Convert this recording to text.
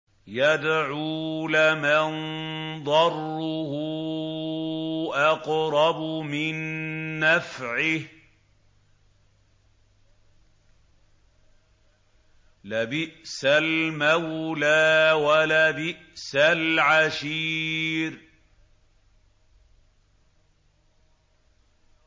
يَدْعُو لَمَن ضَرُّهُ أَقْرَبُ مِن نَّفْعِهِ ۚ لَبِئْسَ الْمَوْلَىٰ وَلَبِئْسَ الْعَشِيرُ